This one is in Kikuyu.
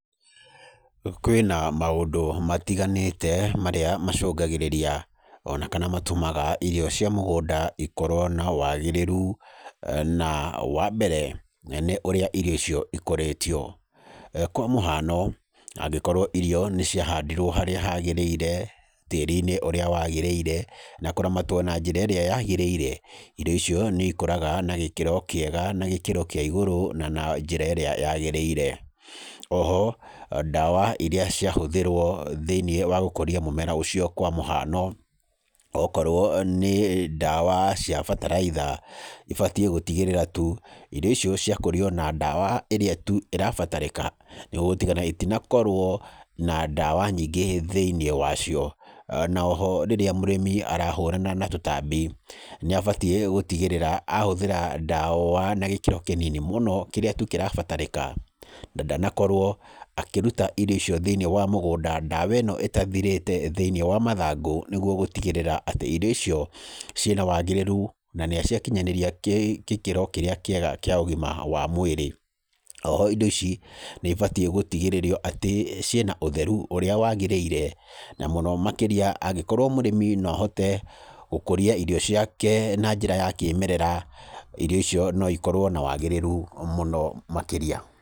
Kwĩna maũndũ matiganĩte marĩa macũngagĩrĩria ona kana matũmaga irio cia mũgũnda ikorwo na wagĩrĩru na wa mbere, nĩ ũrĩa irio icio ikũrĩtio. Kwa mũhano, angĩkorwo irio nĩ ciahandĩrwo harĩa hagĩrĩire, tĩĩri-inĩ ũrĩa wagĩrĩire na kũramatwo na njĩra ĩrĩa yagĩrĩire, irio icio nĩ ikũraga na gĩkĩro kĩega na gĩkĩro kĩa igũrũ na na njĩra ĩrĩa yagĩrĩire. Oho ndawa iria ciahũthĩrwo thĩiniĩ wa gũkũria mũmera ũcio kwa mũhano, okorwo nĩ ndawa cia bataraitha ibatiĩ gũtigĩrĩra tu irio icio ciakũrio na ndawa ĩrĩa tu ĩrabatarĩka nĩgwo gũtiga itinakorwo na ndawa nyingĩ thĩiniĩ wacio. Na oho rĩrĩa mũrĩmi arahũrana na tũtambi nĩ abatiĩ gũtigĩrĩra ahũthĩra ndawa na gĩkĩro kĩnini mũno kĩrĩa tu kĩrabatarĩka, na ndanakorwo akĩruta iro icio thĩiniĩ wa mũgũnda ndawa ĩno ĩtathirĩte thĩiniĩ wa mathangũ, nĩgwo gũtigĩrĩra atĩ irio icio ciĩna wagĩrĩru na nĩ ciakinyanĩria gĩkĩro kĩrĩa kĩega kĩa ũgima wa mwĩrĩ. Oho indo ici nĩibatiĩ gũtigĩrĩrio atĩ ciĩna ũtheru ũrĩa wagĩrĩire na mũno makĩria angĩkorwo mũrĩmi no ahote gũkũria irio ciake na njĩra ya kĩmerera, irio icio no ikorwo na wagĩrĩru mũno makĩrĩa.